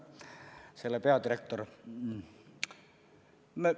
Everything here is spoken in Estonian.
Nüüd selle peadirektorist.